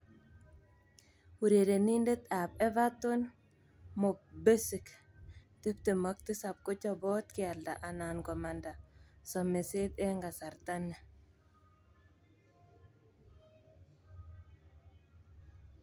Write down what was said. (ESPN) Urerenindet ab Everton Mo Besic, 27, kochobot kealda anan komanda someset eng kasarta ni.